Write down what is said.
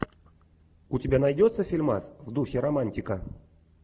у тебя найдется фильмас в духе романтика